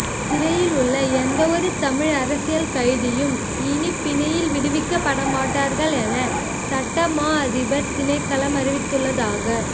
சிறையிலுள்ள எந்தவொரு தமிழ் அரசியல் கைதியும் இனி பிணையில் விடுவிக்கப்படமாட்டார்கள் என சட்ட மாஅதிபர் திணைக்களம் அறிவித்துள்ளதாக